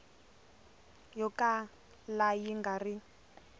yo kala yi nga ri